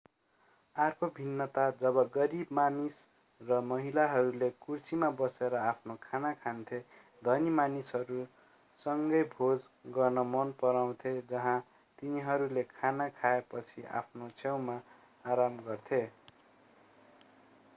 अर्को भिन्नता जब गरिब मानिस र महिलाहरूले कुर्सीमा बसेर आफ्नो खाना खान्थे धनी मानिसहरू सँगै भोज गर्न मन पराउँथे जहाँ तिनीहरूले खाना खाएपछि आफ्नो छेउमा आराम गर्थे